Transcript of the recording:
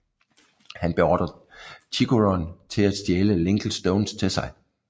Han beordrer Chikurun til at stjæle Linkle Stones til sig